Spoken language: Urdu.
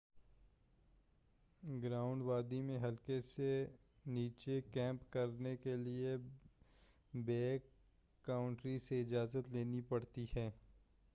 گرانڈ وادی میں حلقے سے نیچے کیمپ کرنے کیلئے بیک کاؤنٹری سے اجازت لینی پڑتی ہے